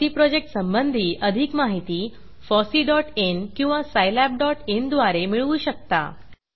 FOSSEE project संबंधी अधिक माहिती fosseeइन किंवा सायलॅबin द्वारे मिळवू शकता